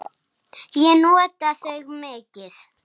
Ég nota þau mikið.